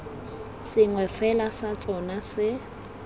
sengwe fela sa tsona se